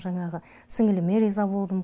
жаңағы сіңіліме риза болдым